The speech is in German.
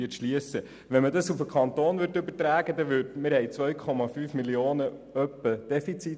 Die Stadt Langenthal schreibt pro Jahr ungefähr ein Defizit in der Höhe von 2,5 Mio. Franken.